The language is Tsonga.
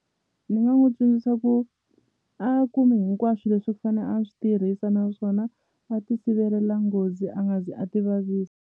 Ni nga n'wi tsundzuxa ku a kume hinkwaswo leswi fane a swi tirhisa naswona a ti sivelela nghozi a nga zi a ti vavisa.